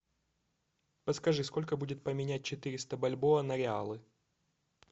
подскажи сколько будет поменять четыреста бальбоа на реалы